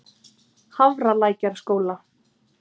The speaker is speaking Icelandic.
Hafralækjarskóla